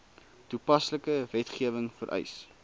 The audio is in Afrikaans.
toepaslike wetgewing vereis